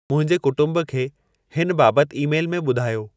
मुंहिंजे कुटुंब खे हिन बाबति ई-मेल में ॿुधायो